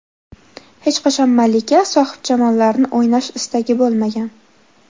Hech qachon malika, sohibjamollarni o‘ynash istagi bo‘lmagan.